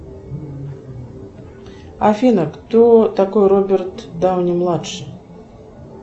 афина кто такой роберт дауни младший